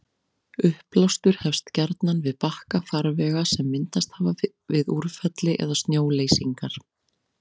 Uppblástur hefst gjarnan við bakka farvega sem myndast hafa við úrfelli eða snjóleysingar.